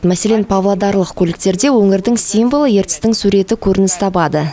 мәселен павлодарлық көліктерде өңірдің символы ертістің суреті көрініс табады